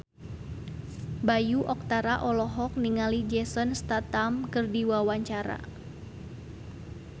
Bayu Octara olohok ningali Jason Statham keur diwawancara